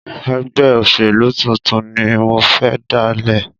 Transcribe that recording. Ẹgbẹ́ òṣèlú tuntun ni mo fẹ́ dáálẹ̀.